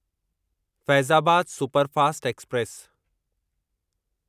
Faizabad superfast express